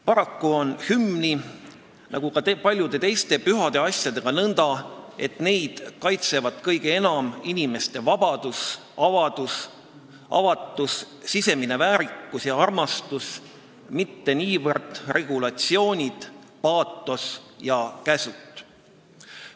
Paraku on hümniga nagu ka paljude teiste pühade asjadega nõnda, et neid kaitsevad kõige enam inimeste vabadus, avatus, sisemine väärikus ja armastus, mitte niivõrd regulatsioonid, paatos ja käsud.